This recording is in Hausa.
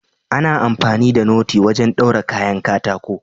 Ana amfani da noti wajen daure kayan katako.